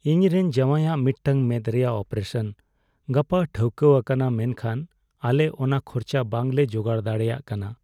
ᱤᱧᱨᱮᱱ ᱡᱟᱶᱟᱭᱟᱜ ᱢᱤᱫᱴᱟᱝ ᱢᱮᱫ ᱨᱮᱭᱟᱜ ᱚᱯᱟᱨᱮᱥᱚᱱ ᱜᱟᱯᱟ ᱴᱷᱟᱹᱣᱠᱟᱹᱣᱟᱠᱟᱱᱟ ᱢᱮᱱᱠᱷᱟᱱ ᱟᱞᱮ ᱚᱱᱟ ᱠᱷᱚᱨᱚᱪ ᱵᱟᱝᱞᱮ ᱡᱚᱜᱟᱲ ᱫᱟᱲᱮᱭᱟᱜ ᱠᱟᱱᱟ ᱾